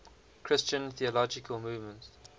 christian theological movements